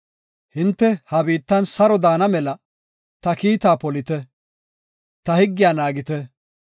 Hinte ha biittan saro daana mela ta kiitta polite; ta higgiya naagite.